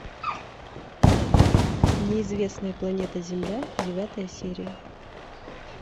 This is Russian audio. неизвестная планета земля девятая серия